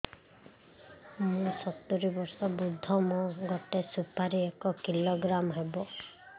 ମୁଁ ସତୂରୀ ବର୍ଷ ବୃଦ୍ଧ ମୋ ଗୋଟେ ସୁପାରି ଏକ କିଲୋଗ୍ରାମ ହେବ